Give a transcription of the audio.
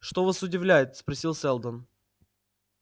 что вас удивляет спросил сэлдон